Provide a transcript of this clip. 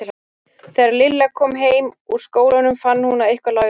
Þegar Lilla kom heim úr skólanum fann hún að eitthvað lá í loftinu.